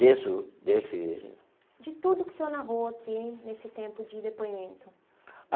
Disso desse... De tudo o que o senhor narrou aqui nesse tempo de depoimento.